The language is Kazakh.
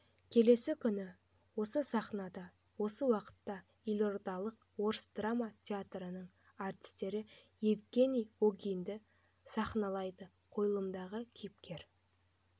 келесі күні осы сахнада осы уақытта елордалық орыс драма театрының артистері евгени онегинді сахналайды қойылымдағы кейіпкер